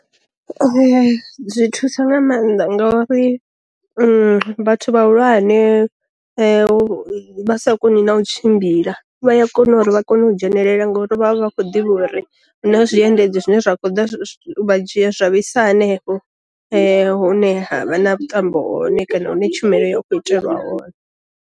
Zwi thusa nga maanḓa ngori vhathu vha hulwane vha sa koni na u tshimbila vhaya kona uri vha kone u dzhenelela ngo ri vha vha vha kho ḓivha uri huna zwiendedzi zwine zwa vha dzhia zwa vhaisa hanefho hune ha vha na vhuṱambo hone kana hune tshumelo ya u kho itelwa hone.